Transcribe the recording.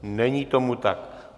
Není tomu tak.